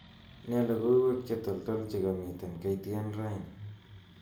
Nee logoiwek chetoltol chekamiten K.T.N raini